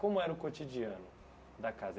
Como era o cotidiano da casa?